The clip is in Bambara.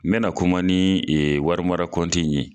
N bɛna kuma ni warimara kɔnti in ye.